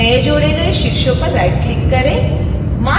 नए जोड़े गए शीर्षों पर राइटक्लिक करें